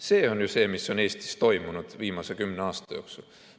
See on ju see, mis on Eestis viimase kümne aasta jooksul toimunud.